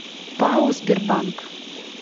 пао сбербанк